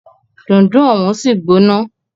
Dundun òun sì gbóná.